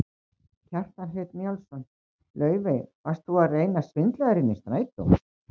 Kjartan Hreinn Njálsson: Laufey, varst þú að reyna að svindla þér inn í strætó?